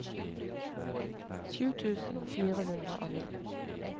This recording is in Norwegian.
sju tusen fire hundre og ni